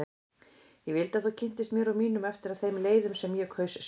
Ég vildi að þú kynntist mér og mínum eftir þeim leiðum sem ég kaus sjálf.